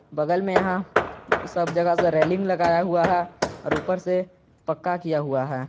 बगल में यहां सब जगह से रेलिंग लगाया हुआ है और ऊपर से पक्का किया हुआ है।